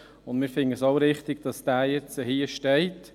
Wir finden es wichtig, dass diese Planungserklärung jetzt hier steht.